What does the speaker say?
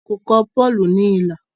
wón kò kọ Paul ní ilà